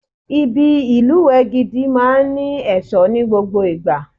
Ibi ìlùwẹ̀ gidi máa ní ẹ̀ṣọ́ ni gbogbo ìgbà.